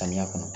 Samiya kɔnɔ